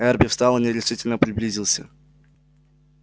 эрби встал и нерешительно приблизился